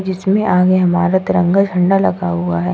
इसमें आगे हमारा तिरंगा झंडा लगा हुआ है।